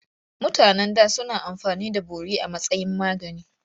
Mutanen da suna amfani da bori a matsayin magani.